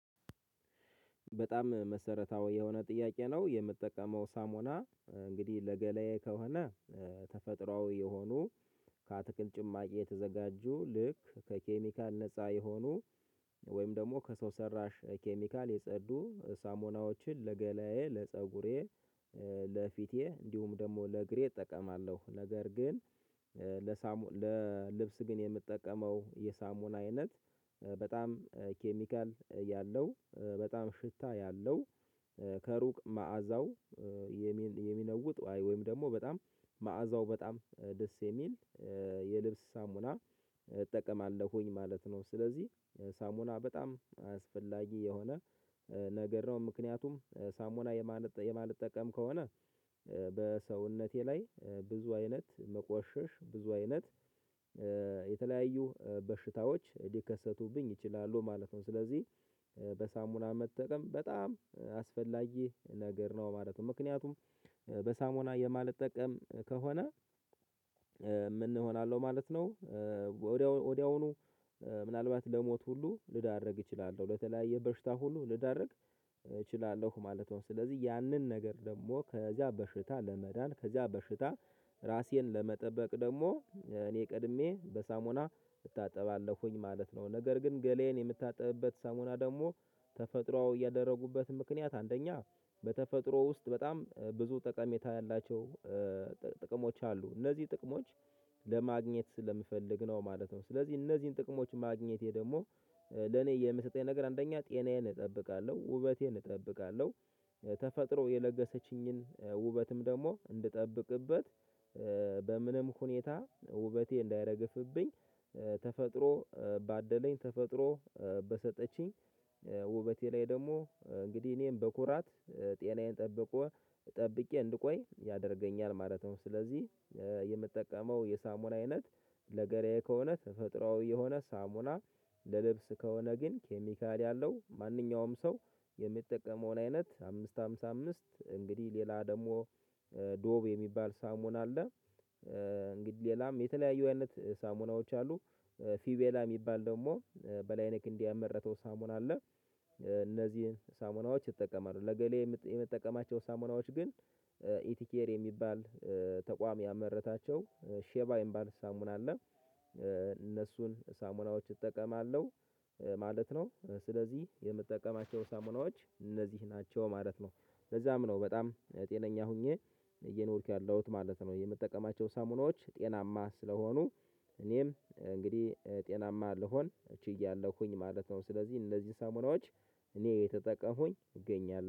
በጣም መሰረታዊ የሆነ ጥያቄ ነው የምጠቀመው ሳሞና እንግዲህ ለገሌ ከሆነ ተፈጥሮአዊ የሆኑ ከአትክልት ጭማቂ የተዘጋጁ፤ ልክ ከኬሚካል ነፃ የሆኑ ወይም ደግሞ ከሰው ሰራሽ ኬሚካል የጸዱ ሳሞናዎችን ለገላዬ ለፀጉሬ ለፊቴ እንዲሁም ደግሞ ለእግሬ እጠቀማለሁ። ነገር ግን ለሳሙኤል ለልብስ ግን የምትጠቀመው የሳሙና አይነት፤ በጣም ኬሚካል ያለው፤ በጣም ሽታ ያለው፤ ከሩቅ መዓዛው የሚነውጥ ወይም ደግሞ በጣም መዓዛው በጣም ደስ የሚል የልብስ ሳሙና እጠቀማለሁኝ ማለት ነው። ስለዚህ ሳሙና በጣም አስፈላጊ የሆነ ነገር ነው። ምክንያቱም ሳሙና የማልጠቀም ከሆነ፤ በሰውነቴ ላይ ብዙ አይነት መቆሸሽ፤ ብዙ አይነት የተለያዩ በሽታዎች ሊከሰቱብኝ ይችላሉ ማለት ነው። ስለዚህ በሳሙና መጠቀም በጣም አስፈላጊ ነገር ነው ማለት ነው። ምክንያቱም የሚነውጥ ወይም ደግሞ በጣም መዓዛው በጣም ደስ የሚል የልብስ ሳሙና እጠቀማለሁኝ ማለት ነው ስለዚህ ሳሙና በጣም አስፈላጊ የሆነ ነገር ነው ምክንያቱም ሳሙና የማልጠቀም ከሆነ ወድያውኑ ምናልባት ለሞት ሁላ እንኳን ልዳረግ ይችላል፤ ለተለያዩ በሽታም ሁላ ልዳረግ ይችላል ማለት ነው። ስለዝህ ደግሞ ያንን ነገር ከዛ በሽታ ለመዳን ራሴን ለመጠበቅ ደግሞ እኔ ቀድሜ በሳሙና እታጠባለሁኝ ማለት ነው። ነገር ግን ገላዬን የምታጥብበት ሳሙና ደግሞ ተፈጥሮአዊ ያደረኩበትን ምክንያት አንደኛ በተፈጥሮ ውስጥ በጣም ብዙ ጠቀሜታ ያላቸው ጥቅሞች አሉ። እነዚህን ጥቅሞች ለማግኘት ስለምፈልግ ነው ማለት ነው። ስለዚህ እነዚህን ጥቅሞች ማግኘቴ ደግሞ ራሴን ለመጠበቅ ደግሞ እኔ ቀድሜ በበሳሙና እታጠባለውኝ ማለት ነው። ነገር ግን ገላዬን የሚታጠቢበት ሳሙና ደግሞ ተፈጥሮ የለገሰችኝን ውበትም ደግሞ እንድጠብቅበት፤ በምንም ሁኔታ ውበቴ እንዳያረግፍብኝ፤ ተፈጥሮ ባደለኝ፤ ተፈጥሮ በሰጠችኝ፤ ውበቴ ላይ ደግሞ እንግዲህ እኔም በኩራት ጤናዬን ጠብቆ ጠብቄ እንድቆይ ያደርገኛል ማለት ነው። ስለዚህ የምጠቀመው የሳሙና አይነት ለገላዬ ከሆነ ተፈጥሮአዊ የሆነ ሳሙና ለልብስ ከሆነ ግን ኬሚካል ያለው፤ ማንኛውም ሰው የሚጠቀመውን አይነት፤ አምስት አምሳ አምስት እንግዲህ ሌላ ደግሞ ዶቭ የሚባል ሳሙና አለ፤ እንግዲህ ሌላም የተለያዩ አይነት ሳሙናዎች አሉ። ፊቬላ የሚባል ደግሞ በላይነ ክንዴ ያመረተው ሳሙና አለ። እነዚህን ሳሙናዎች ይጠቀማሉ። ለገላዬ የምትጠቀማቸው ሳሙናዎች ግን፤ ኢቲኬር የሚባል ተቋም ያመረታቸው ሼባ የሚባል ሳሙና አለ እነሱን ሳሙናዎች እጠቀማለሁ። ማለት ነው ስለዚህ የምትጠቀማቸው ሳሙናዎች እነዚህ ናቸው ማለት ነው። ለዛም ነው በጣም ጤነኛ ሆኜ እየኖርኩ ያለሁት ማለት ነው። የምጠቀማቸው ሳሙናዎች ጤናማ ስለሆኑ፤ እኔም እንግዲህ ጤናማ ልሆን ችያለሁኝ ማለት ነው። ስለዚህ እንዚህ ሳሙናዎች እኔ እየተጠቀሙኝ እገኛለሁ።